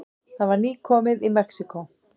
Það var nýkomið í Mexíkó.